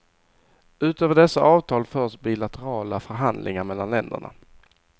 Utöver dessa avtal förs bilaterala förhandlingar mellan länderna.